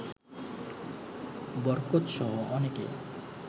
বরকতসহ অনেকে